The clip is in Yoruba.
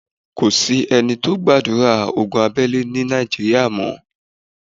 Kò sí ẹni tó gbàdúrà ogun abẹ́lé ni Nàìjíríà mọ